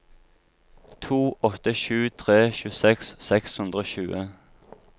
to åtte sju tre tjueseks seks hundre og tjue